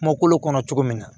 Kumakolo kɔnɔ cogo min na